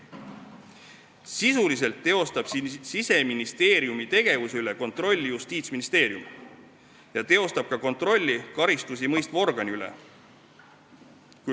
Sisuliselt teostab Siseministeeriumi tegevuse üle kontrolli Justiitsministeerium ja ta teostab ka kontrolli karistusi mõistva organi üle.